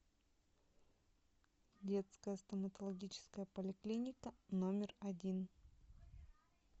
детская стоматологическая поликлиника номер один